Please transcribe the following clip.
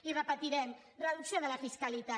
i ho repetirem reducció de la fiscalitat